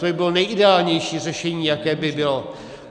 To by bylo nejideálnější řešení, jaké by bylo.